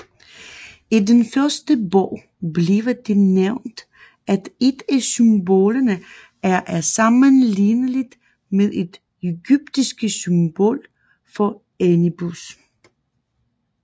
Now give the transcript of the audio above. I den første bog bliver det nævnt at et af symbolerne er sammenlignelidt med det egyptiske symbol for Anubis